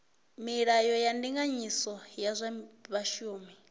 milayo ya ndinganyiso ya zwa vhashumi